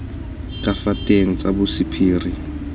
ka fa teng tsa bosephiri